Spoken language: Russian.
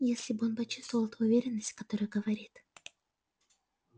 если бы он почувствовал ту уверенность с которой говорит